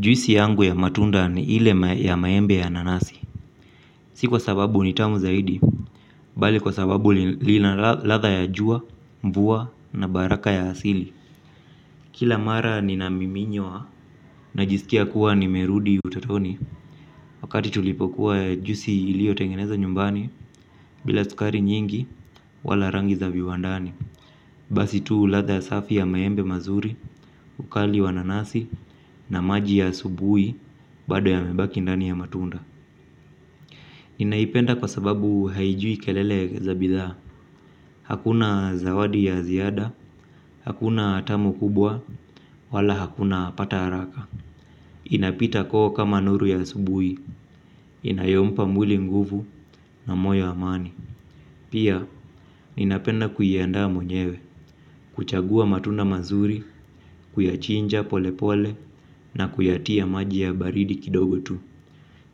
Juisi yangu ya matunda ni ile ya maembe na nanasi. Si kwa sababu ni tamu zaidi bali kwa sababu lina ladha ya jua, mvua na baraka ya asili. Kila mara nina miminyo wa najisikia kuwa nimerudi utatoni. Wakati tulipokuwa juisi iliyo tengeneza nyumbani bila sukari nyingi wala rangi za viwandani. Basi tu ladha ya safi ya maembe mazuri. Ukali wa nanasi na maji ya asubuhi. Bado yamebaki ndani ya matunda. Ninaipenda kwa sababu haijui kelele za bidhaa. Hakuna zawadi ya ziada, hakuna tamu kubwa wala hakuna pata haraka. Inapita koo kama nuru ya asubuhi, inayompa mwili nguvu na moyo amani. Pia, ninapenda kuiandaa mwenyewe, kuchagua matunda mazuri, kuyachinja pole pole na kuyatia maji ya baridi kidogo tu.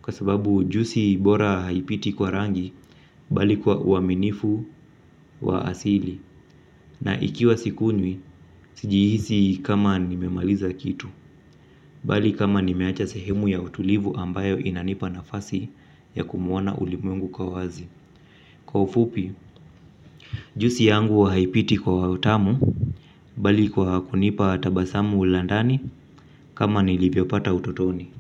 Kwa sababu juisi bora haipiti kwa rangi bali kwa uaminifu wa asili. Na ikiwa sikunywi, sijihisi kama nimemaliza kitu. Bali kama nimeacha sehemu ya utulivu ambayo inanipa nafasi ya kumwona ulimwengu kwa wazi. Kwa ufupi, juisi yangu haipiti kwa wa utamu bali kwa kunipa tabasamu la ndani kama nilivyopata utotoni.